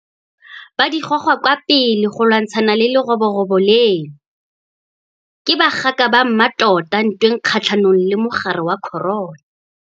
Ba di goga kwa pele go lwantshana le leroborobo leno. Ke bagaka ba mmatota ntweng kgatlhanong le mogare wa corona.